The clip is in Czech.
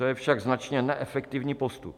To je však značně neefektivní postup.